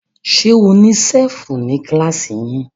Ṣe ní ṣẹ́fù ní kílàsì yín?